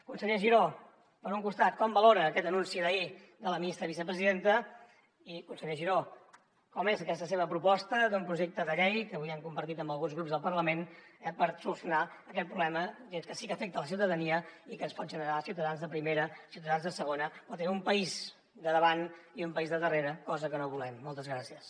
conseller giró per un costat com valora aquest anunci d’ahir de la ministra vicepresidenta i conseller giró com és aquesta seva proposta d’un projecte de llei que avui han compartit amb alguns grups del parlament per solucionar aquest problema que sí que afecta la ciutadania i que ens pot generar ciutadans de primera i ciutadans de segona o tenir un país de davant i un país de darrere cosa que no volem moltes gràcies